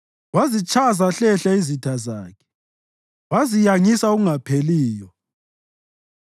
Wazitshaya zahlehla izitha zakhe; waziyangisa okungapheliyo.